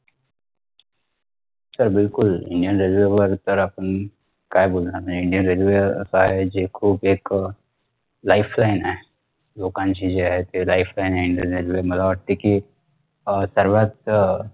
च बिलकुल indian railway वर तर आपण काय बोलणार नाही indian railway काय जे खूप एक अं lifeline आहे लोकांची जे आहे ती lifeline आहे indian railway मला वाटते कि अह सर्वात अह